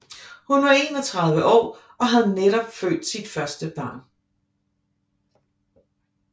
Hun var 31 år og havde netop født sit første barn